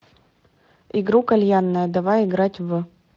игру кальянная давай играть в